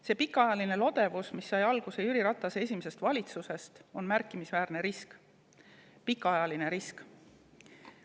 See pikaajaline lodevus, mis sai alguse Jüri Ratase esimesest valitsusest, on märkimisväärne risk, pikaajaline risk.